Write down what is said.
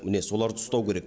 міне соларды ұстау керек